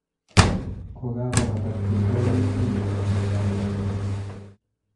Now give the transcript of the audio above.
Kokakobata tiendo ni indenee Metallica